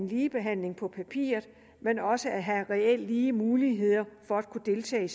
ligebehandling men også reelt lige muligheder for at kunne deltage i